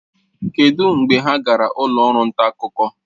Kedụ mgbe ha gara ụlọ ọrụ nta akụkọ?